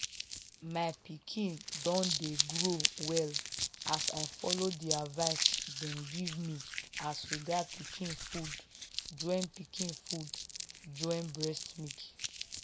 my pikin don dey grow well as i follow the advice them give me as regard pikin food join pikin food join breast milk.